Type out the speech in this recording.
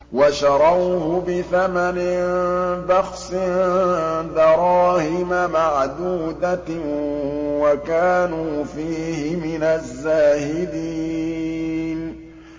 وَشَرَوْهُ بِثَمَنٍ بَخْسٍ دَرَاهِمَ مَعْدُودَةٍ وَكَانُوا فِيهِ مِنَ الزَّاهِدِينَ